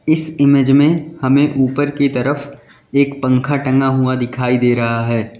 इस इमेज में हमें ऊपर की तरफ एक पंखा टंगा हुआ दिखाई दे रहा है।